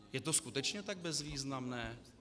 Je to skutečně tak bezvýznamné?